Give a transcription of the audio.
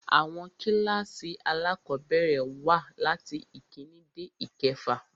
Àwọn kílkàsì alákọ̀bẹ̀rẹ̀ wà latí ìkíni dé ìkefà.